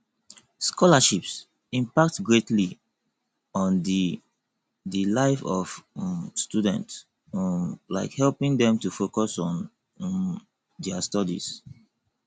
scholarships impact greatly on di di life of um students um like helping dem to focus on um dia studies